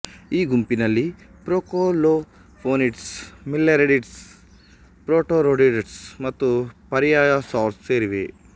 ಈ ಗುಂಪಿನಲ್ಲಿ procolophonids millerettids protorothyridids ಮತ್ತು ಪರೀಯಸೌರ್ಸ್ ಸೇರಿವೆ